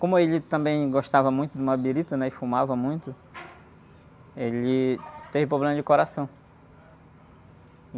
Como ele também gostava muito de uma birita e fumava muito, ele teve problema de coração.